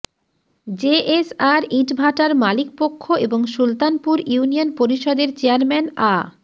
JSR ইটভাটার মালিক পক্ষ এবং সুলতানপুর ইউনিয়ন পরিষদের চেয়ারম্যান আ